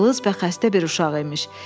Cılız və xəstə bir uşaq imiş.